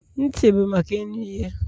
Ntị bụ maka ịnụ ihe.